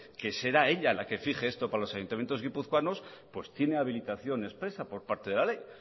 que será ella la que fije esto para los ayuntamientos guipuzcoanos pues tiene habilitación expresa por parte de la ley